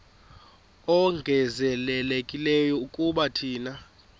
ongezelelekileyo kuba thina